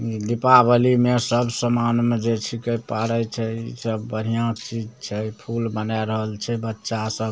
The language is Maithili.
इ दीपावली में सब सामान में जे छींके पारे छै इ सब बढ़िया चीज छै फूल बनए रहल छै बच्चा सब।